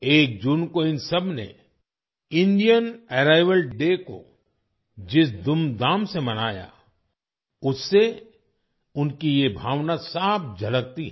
एक जून को इन सबने इंडियन अराइवल डे को जिस धूम धाम से मनाया उससे उनकी ये भावना साफ झलकती है